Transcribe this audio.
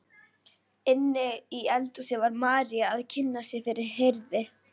Inni í eldhúsi var María að kynna sig fyrir Herði.